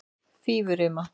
Fífurima